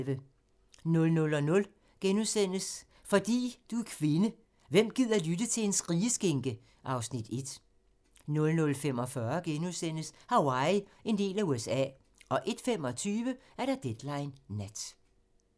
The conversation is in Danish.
00:00: Fordi du er kvinde: Hvem gider lytte til en skrigeskinke? (Afs. 1)* 00:45: Hawaii - en del af USA * 01:25: Deadline Nat